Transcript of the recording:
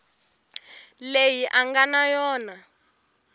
leyi a nga na yona